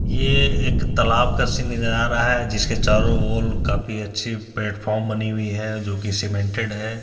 यह एक तालाब का सीन नजर आ रहा है जिसके चारों ओर काफी अच्छी प्लेटफार्म बनी हुई है जो की सीमेंटेड है।